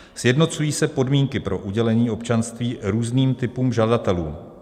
Sjednocují se podmínky pro udělení občanství různým typům žadatelů.